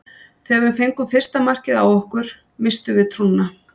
Þegar við fengum fyrsta markið á okkur misstum við trúnna.